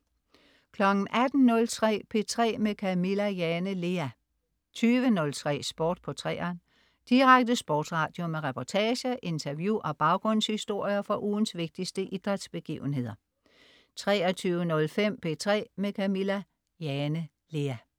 18.03 P3 med Camilla Jane Lea 20.03 Sport på 3'eren. Direkte sportsradio med reportager, interview og baggrundshistorier fra ugens vigtigste idrætsbegivenheder 23.05 P3 med Camilla Jane Lea